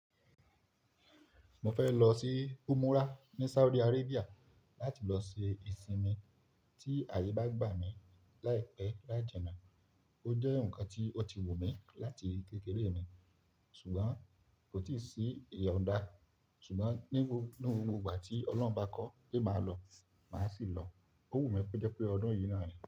Mo fẹ́ lọ sí Umurah ní Saudi Arabia láti lọ ṣe ìsinmi tí àyè bá gbà mí láìpẹ́ láìjẹ́na. Ó jẹ́ nǹkan tí ó ti wù mí láti kékeré mi ṣùgbọ́n kò tíì sí ìyọ̀ ǹ da. Ṣùgbọ́n ní gbogbo ìgbà tí Ọlọ́run bá kọ́ pé màá lọ, màá sì lọ. Ó wù mí pẹ́ jẹ́ pé ọdún yìí ni àní.